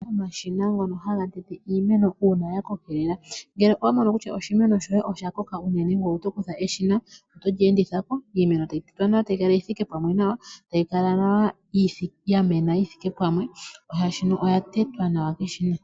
Omashina ngono haga tete iimeno uuna ya kokelela. Ngele owa mono kutya oshimeno shoye osha koka unene ngoye oto kutha eshina etolyeenditha ko, iimeno tayi tetwa nawa e ta yi kala yi thike pamwe nawa, e tayi kala ya mena yi thike pamwe shaashino oya tetwa nawa keshina.